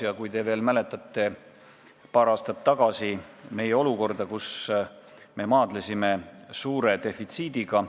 Vahest te veel mäletate meie olukorda paar aastat tagasi, kui me maadlesime suure defitsiidiga.